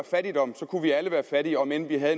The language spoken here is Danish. fattigdom kunne vi alle være fattige om end vi havde